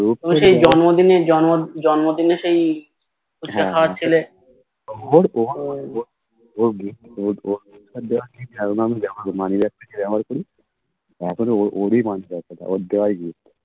এখনো ওরি moneybag ওটা ওর দেওয়াই gift